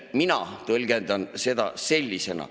Mina tõlgendan seda sellisena.